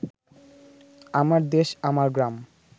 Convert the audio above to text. আমার দেশ আমার গ্রাম